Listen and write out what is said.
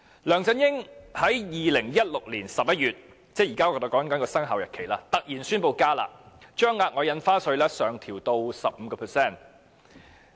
梁振英在2016年11月——即我們現在提及的生效日期——突然宣布"加辣"，把額外印花稅上調至 15%。